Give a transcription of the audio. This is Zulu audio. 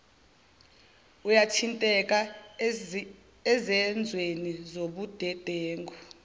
uyathinteka ezenzweni zobudedengu